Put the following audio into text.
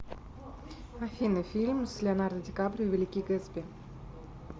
афина фильм с леонардо ди каприо великий гэтсби